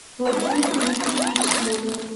владимир дмитриевич смолин